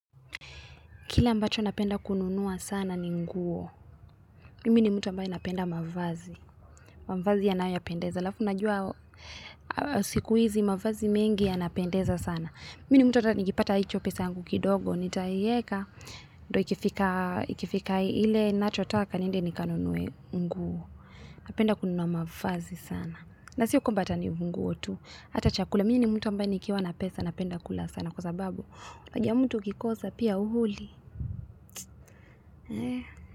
Kile ambacho napenda kununua sana ni nguo. Mimi ni mtu ambae napenda mavazi. Mavazi yanayo yapendeza. Halafu unajua siku hizi mavazi mengi yanapendeza sana. Mimi ni mtu hata nikipata hicho pesa yangu kidogo. Nitaiweka ndo ikifika ile ninachotaka niende nikanunue nguo. Napenda kununua mavazi sana. Na sio kwamba hata ni nguo tu. Hata chakula. Mini ni mtu ambae nikiwa na pesa napenda kula sana. Kwa sababu, paji ya mtu ukikosa pia huli. Eh.